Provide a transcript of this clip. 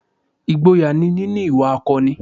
Ìgboyà ni níní ìwà akọni